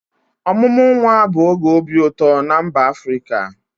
Ọmụmụ nwa bụ oge obi ụtọ na mba Afrịka.